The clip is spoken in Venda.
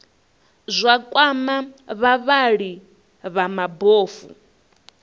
zwa kwama vhavhali vha mabofu